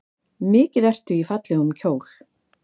Mikið ertu í fallegum kjól.